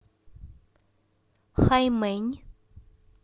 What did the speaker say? хаймэнь